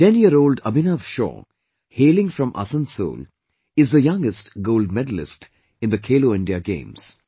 10yearold Abhinav Shaw hailing from Asansol is the youngest gold medallist in the Khelo India Games